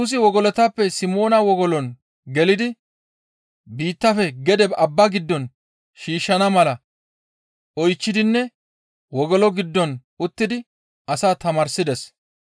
Yesusi wogolotappe Simoona wogolon gelidi biittafe gede abba gido shiishshana mala oychchidinne wogolo giddon uttidi asaa tamaarsides.